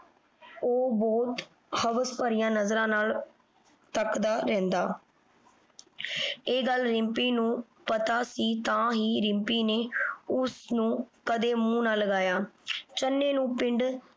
ਉਹ ਬਹੁਤ ਹਵਸ ਭਰੀਆਂ ਨਜ਼ਰਾਂ ਨਾਲ ਤੱਕਦਾ ਰਹਿੰਦਾ। ਇਹ ਗੱਲ ਰਿੰਪੀ ਨੂੰ ਪਤਾ ਸੀ ਤਾਂ ਹੀ ਰਿੰਪੀ ਨੇ ਉਸਨੂੰ ਕਦੇ ਮੂੰਹ ਨਾ ਲਗਾਇਆ। ਚੰਨੇ ਨੂੰ ਪਿੰਡ